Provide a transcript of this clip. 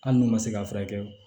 Hali n'u ma se k'a furakɛ